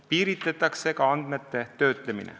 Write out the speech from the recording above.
Piiritletakse ka andmete töötlemine.